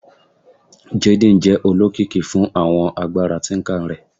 Jaden jẹ olokiki fun awọn agbara tinker rẹ